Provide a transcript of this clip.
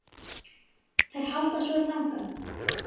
Þær halda svo þangað.